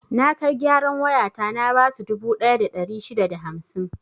Na kai gyaran wayata na basu dubu ɗaya da ɗari shida da hamsin.